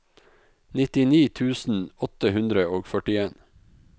nittini tusen åtte hundre og førtien